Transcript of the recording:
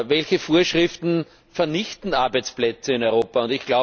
Welche Vorschriften vernichten Arbeitsplätze in Europa?